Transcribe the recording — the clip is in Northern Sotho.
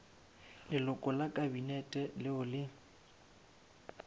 leloko la kabinete leo le